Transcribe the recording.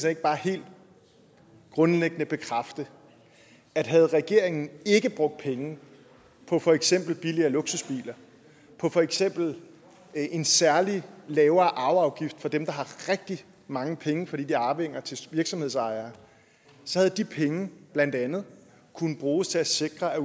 ikke bare helt grundlæggende bekræfte at havde regeringen ikke brugt penge på for eksempel billigere luksusbiler på for eksempel en særlig lavere arveafgift for dem der har rigtig mange penge fordi de er arvinger til virksomhedsejere så havde de penge blandt andet kunnet bruges til at sikre at